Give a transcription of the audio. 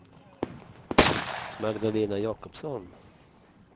Magdalena Jakobsson